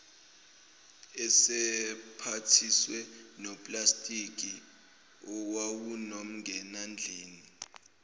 esemphathise noplastiki owawunomngenandlini